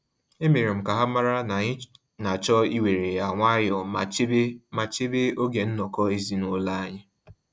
E mere m ka ha mara na anyị na-achọ iwere ya nwayọ ma chebe ma chebe oge nnọkọ ezinaụlọ anyi